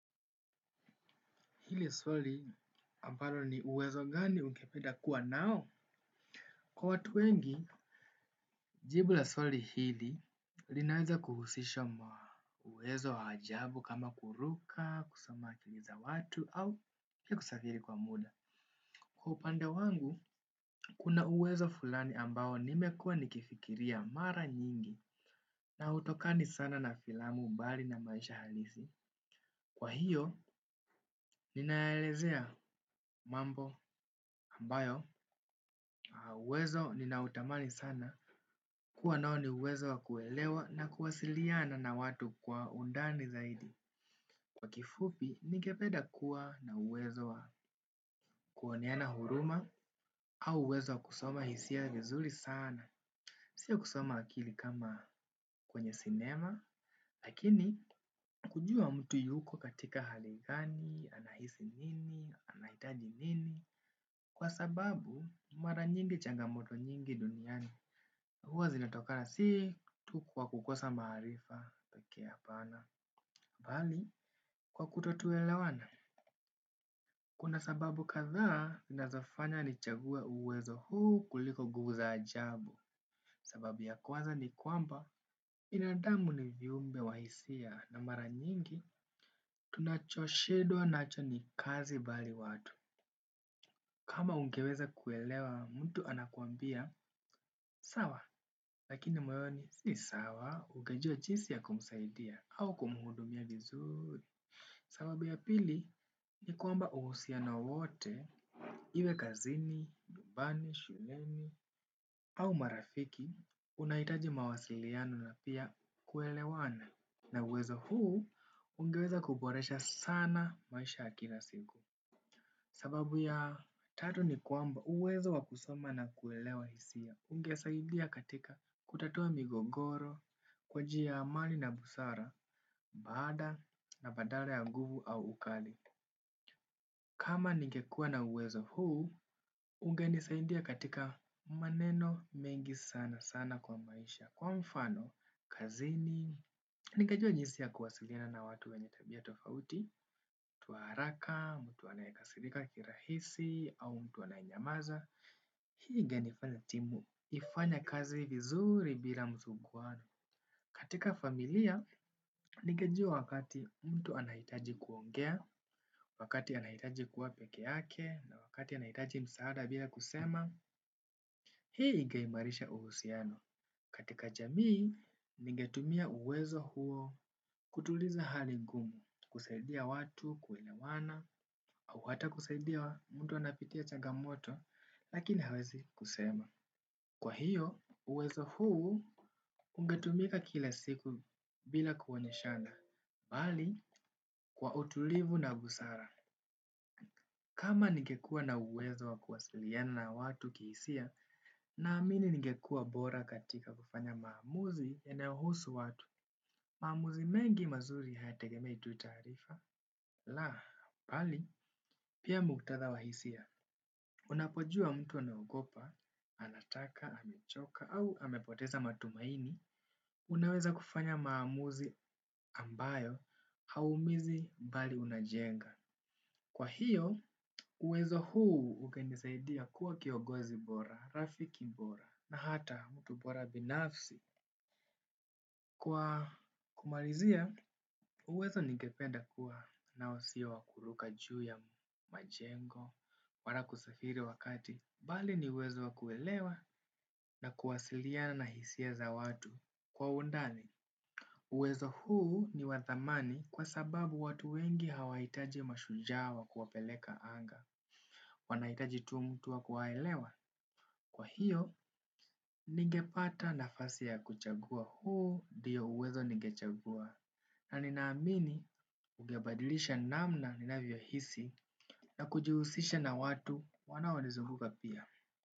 Hili swali ambalo ni uwezo gani ungependa kuwa nao? Kwa watu wengi, jibu la swali hili linaweza kuhusisha uwezo wa ajabu kama kuruka, kusoma akili za watu au pia kusafiri kwa muda. Kwa upande wangu, kuna uwezo fulani ambao nimekua nikifikiria mara nyingi na hutokani sana na filamu mbali na maisha halisi. Kwa hiyo, ninaelezea mambo ambayo, uwezo ninautamani sana kuwa nao ni uwezo wa kuelewa na kuwasiliana na watu kwa undani zaidi. Kwa kifupi, ningependa kuwa na uwezo wa kuoneana huruma au uwezo wa kusoma hisia vizuri sana. Sio kusoma akili kama kwenye cinema, lakini kujua mtu yuko katika hali gani, anahisi nini, anahitaji nini. Kwa sababu, mara nyingi changamoto nyingi duniani. Huwa zinatokana sii, tu kwa kukosa maarifa, pekee hapana. Bali, kwa kuto tuelewana. Kuna sababu kadhaa, zinazofanya nichague uwezo huu kuliko nguvu za ajabu. Sababu ya kwanza ni kwamba, binadamu ni viumbe wa hisia na mara nyingi, tunachoshindwa nacho ni kazi bali watu. Kama ungeweza kuelewa, mtu anakuambia, sawa, lakini moyoni, si sawa, ungejia jinsi ya kumsaidia au kumhudumia vizuri. Sababu ya pili, ni kwamba uhusiano wote, iwe kazini, nyumbani, shuleni, au marafiki, unahitaji mawasiliano na pia kuelewana. Na uwezo huu, ungeweza kuboresha sana maisha ya kila siku. Sababu ya tatu ni kwamba uwezo wa kusoma na kuelewa hisia, ungesaidia katika kutatua migogoro, kwa njia ya amani na busara, baada na badala ya nguvu au ukali. Kama ningekuwa na uwezo huu, ungenisaidia katika maneno mengi sana sana kwa maisha. Kwa mfano, kazini, ningejua jinsi ya kuwasiliana na watu wenye tabia tofauti, watu wa haraka, mtu anayekasirika kirahisi, au mtu anayenyamaza. Hii ingenifanya timu, ifanye kazi vizuri bila msuguano. Katika familia, ningejua wakati mtu anahitaji kuongea, wakati anahitaji kuwa peke yake, na wakati anahitaji msaada bila kusema. Hii ingeimarisha uhusiano. Katika jamii, ningetumia uwezo huo kutuliza hali ngumu, kusaidia watu, kuelewana, au hata kusaidia mtu anayepitia changamoto, lakini hawezi kusema. Kwa hiyo uwezo huu ungetumika kila siku bila kuonyeshana bali, kwa utulivu na busara. Kama ningekuwa na uwezo wa kuwasiliana na watu kihisia, naamini ningekuwa bora katika kufanya maamuzi yanayohusu watu. Maamuzi mengi mazuri hayategemei tu taarifa. La, bali, pia muktatha wa hisia, unapojua mtu anaogopa, anataka, amechoka, au amepoteza matumaini, unaweza kufanya maamuzi ambayo, hauumizi bali unajenga. Kwa hiyo, uwezo huu ukanisaidia kuwa kiongozi bora, rafiki bora, na hata mtu bora binafsi. Kwa kumalizia, uwezo ningependa kuwa nao si wa kuruka juu ya majengo, wala kusafiri wakati bali ni uwezo wa kuelewa na kuwasiliana na hisia za watu kwa undani. Uwezo huu ni wa thamani kwa sababu watu wengi hawahitaji mashujaa wa kuwapeleka anga wanahitaji tu mtu wa kuwaelewa. Kwa hiyo, ningepata nafasi ya kuchagua huu ndio uwezo ningechagua. Na ninaamini ungebadilisha namna ninavyohisi na kujuhusisha na watu wanaonizunguka pia.